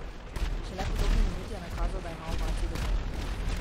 Šele po dobri minuti je nakazal, da ima ovacij dovolj.